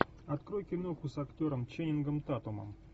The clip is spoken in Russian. открой киноху с актером ченнингом татумом